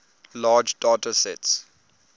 large data sets